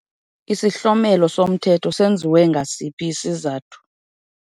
Isihlomelo somthetho senziwe ngasiphi isizathu?